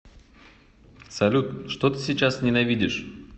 салют что ты сейчас ненавидишь